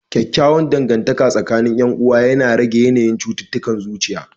Kyakkyawan dangantaka tsakanin 'yan uwa yana rage yanayin cututtukan zuciya.